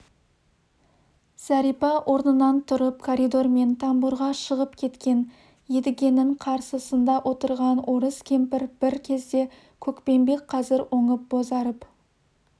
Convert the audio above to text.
зәрипа орнынан тұрып коридормен тамбурға шығып кеткен едігенің қарсысында отырған орыс кемпір бір кезде көкпеңбек қазір оңып бозарып